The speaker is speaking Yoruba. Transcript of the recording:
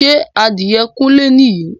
Ṣé adìẹ kúnlé ni yìí?